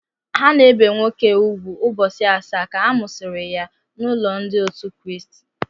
A na-ebi nwoke úgwù ụbọchị asaa ka a mụsịrị ya n'ụlọ Ndị otu Kraịst.